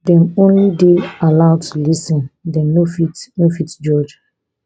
dem only dey allowed to lis ten dem no fit no fit judge